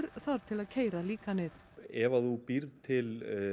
þarf til að keyra líkanið ef að þú býrð til